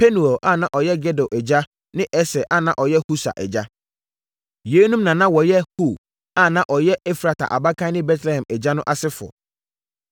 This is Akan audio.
Penuel a na ɔyɛ Gedor agya ne Eser a na ɔyɛ Husa agya. Yeinom na na wɔyɛ Hur a na ɔyɛ Efrata abakan ne Betlehem agya no asefoɔ.